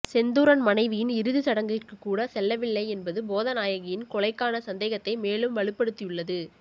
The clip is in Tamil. செந்தூரன் மனைவியின் இறுதி சடங்கிற்கு கூட செல்லவில்லை என்பது போதநாயகியின் கொலைக்கான சந்தேகத்தை மேலும் வலுப்படுத்தியுள்ளது